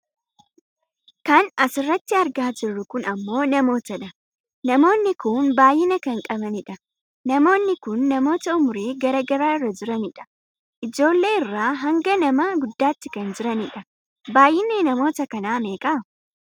Kan asirratti argaa jirru kun ammoo namootadha. Namoonni kun baayyina kan qabanidha. Namoonni kun namoota umurii gara garaa irra jiranidha. Ijoollee irraa hanga nama guddaatti kan jiranidha. Baayyinni namoota kanaa meeqa?